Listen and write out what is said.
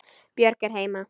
Björg er heima.